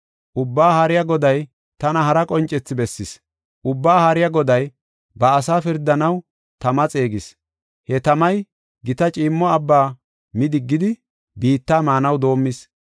Ubbaa Haariya Goday tana hara qoncethi bessis. Ubbaa Haariya Goday ba asaa pirdanaw tama xeegis; he tamay gita ciimmo abba mi diggidi, biitta maanaw doomis.